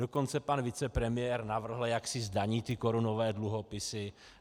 Dokonce pan vicepremiér navrhl, jak si zdaní ty korunové dluhopisy.